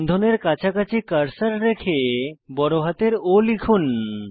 বন্ধনের কাছাকাছি কার্সার রেখে বড়হাতের O লিখুন